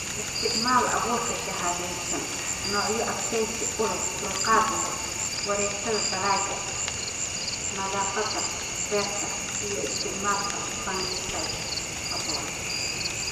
"Isticmaal abuurka shahaadaysan (noocyo adkaysi u leh/dulqaad leh), wareegtada dalagga, nadaafadda beerta & isticmaal fungicides habboon."